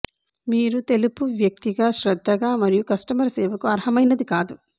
మీరు తెలుపు వ్యక్తిగా శ్రద్ధగా మరియు కస్టమర్ సేవకు అర్హమైనది కాదు